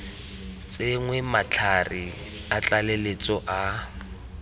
tsenngwe matlhare a tlaleletso a